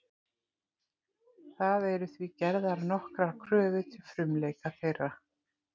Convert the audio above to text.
Það eru því gerðar nokkrar kröfur til frumleika þeirra.